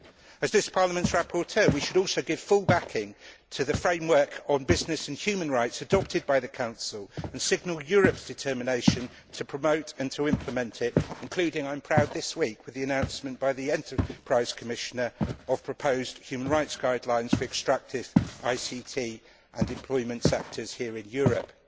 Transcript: As this Parliament's rapporteur, we should also give full backing to the framework on business and human rights adopted by the Council and signal Europe's determination to promote and to implement it, including, I am proud to say, this week, the announcement by the Enterprise Commissioner, of proposed human rights guidelines for the ICT and employment sectors here in Europe.